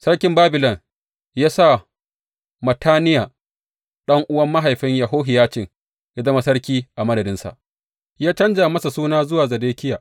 Sarkin Babilon ya sa Mattaniya, ɗan’uwan mahaifin Yehohiyacin, ya zama sarki a madadinsa, ya canja masa suna zuwa Zedekiya.